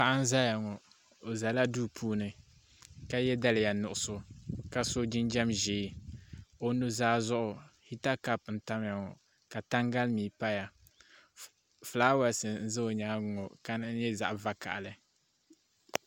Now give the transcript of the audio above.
Paɣa n ʒɛya ŋo o ʒɛla duu puuni ka yɛ daliya nuɣso ka so jinjɛm ʒiɛ o nuzaa zuɣu hita kaap n tamya maa ka tangali mii paya fulaawaasi n ʒɛ o nyaanga ŋo ka di kama nyɛ zaɣ vakaɣali